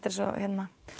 er svo